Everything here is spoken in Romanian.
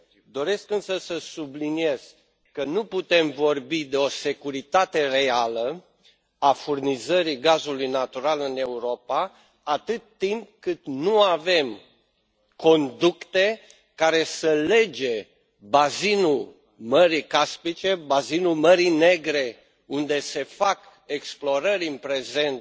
Doresc, însă, să subliniez că nu putem vorbi de o securitate reală a furnizării gazului natural în Europa atât timp cât nu avem conducte care să lege bazinul Mării Caspice, bazinul Mării Negre, unde se fac explorări în prezent,